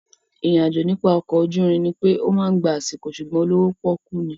Ìrìn àjò nípa ọkọ̀ ojúrin ní pé ó máa gba àsìkò sùgbón olówó pọ́kú ni